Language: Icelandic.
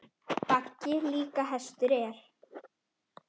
Baggi líka hestur er.